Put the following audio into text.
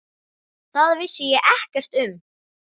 Það vissi ég ekkert um.